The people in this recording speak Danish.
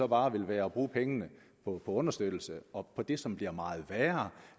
bare være at bruge pengene på understøttelse og på det som bliver meget værre